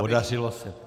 Podařilo se.